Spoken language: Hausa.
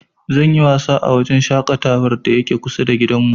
Zan yi wasa a wajen shaƙatawar da yake kusa da gidanmu.